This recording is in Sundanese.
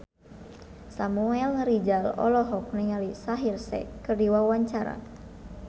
Samuel Rizal olohok ningali Shaheer Sheikh keur diwawancara